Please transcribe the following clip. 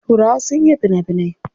Turawa sun iya fina finai.